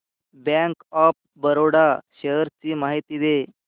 bank of Baroda shares ची माहिती दे